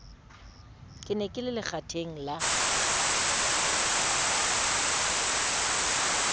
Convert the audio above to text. ne ke le lekgatheng la